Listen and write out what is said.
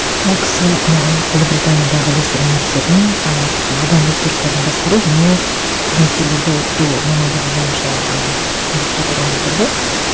ол кісі ыыы ұлыбританиядағы лестер университетінің ы адам ресурстарын басқару және қызметкерлерді оқыту мамандығы бойынша і магистратураны бітірді